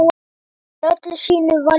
Hekla í öllu sínu valdi!